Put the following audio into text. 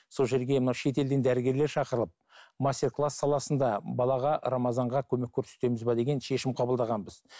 сол жерге мына шетелден дәрігерлер шақырылып мастер класс саласында балаға рамазанға көмек көрсетеміз бе деген шешім қабылдағанбыз